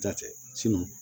Da tɛ